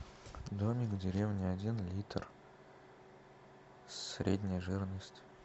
домик в деревне один литр средняя жирность